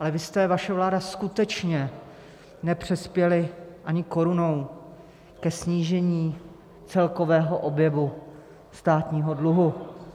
Ale vy jste - vaše vláda - skutečně nepřispěli ani korunou ke snížení celkového objemu státního dluhu.